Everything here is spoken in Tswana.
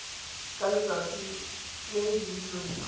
ka letsatsi le e dirilweng